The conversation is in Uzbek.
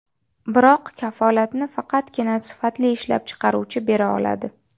Biroq kafolatni faqatgina sifatli ishlab chiqaruvchi bera oladi.